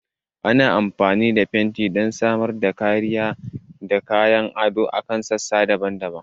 Ana amfani da fenti don samar da kariya da kayan ado a kan sassa daban-daban.